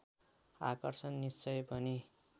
आकर्षण निश्चय पनि